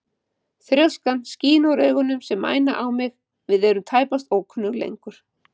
Þrjóskan skín úr augunum sem mæna á mig, við erum tæpast ókunnug lengur.